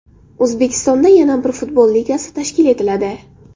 O‘zbekistonda yana bir futbol ligasi tashkil etiladi.